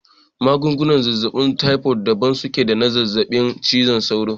Magungunan zazzaɓin taifod daban suke da na zazzaɓin ciwon sauro